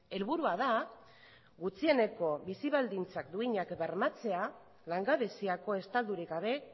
helburua da gutxieneko bizi baldintzak duinak bermatzea langabeziako estaturik gabe